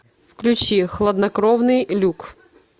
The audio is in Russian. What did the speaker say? включи хладнокровный люк